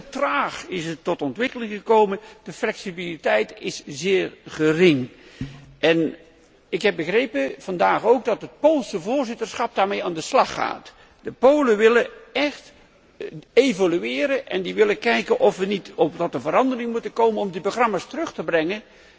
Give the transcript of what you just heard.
Het is heel traag tot ontwikkeling gekomen. De flexibiliteit is zeer gering en ik heb begrepen, vandaag ook, dat het Poolse voorzitterschap daarmee aan de slag gaat. De Polen willen echt evolueren en kijken of er veranderingen moeten komen om die programma's terug te brengen